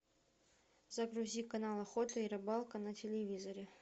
загрузи канал охота и рыбалка на телевизоре